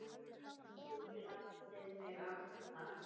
Þú gladdir mig alltaf.